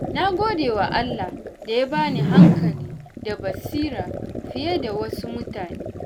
Na gode wa Allah da ya bani hankali da basira fiye da wasu mutanen.